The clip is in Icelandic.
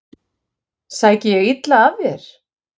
Sæki ég illa að þér?